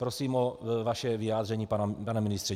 Prosím o vaše vyjádření, pane ministře.